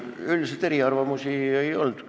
Üldiselt eriarvamusi ei olnud.